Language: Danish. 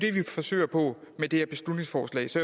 forsøger på med det her beslutningsforslag så